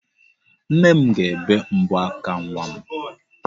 Nne m ga-ebe mbọ aka nwa m.